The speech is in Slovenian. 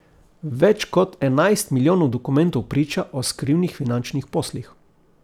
Več kot enajst milijonov dokumentov priča o skrivnih finančnih poslih.